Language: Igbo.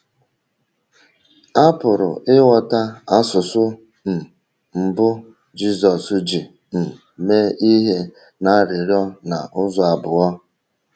A pụrụ ịghọta asụsụ um mbụ Jizọs ji um mee ihe n’arịrịọ a n’ụzọ abụọ.